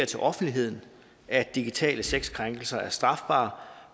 til offentligheden at digitale sexkrænkelser er strafbare